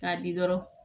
K'a di dɔrɔn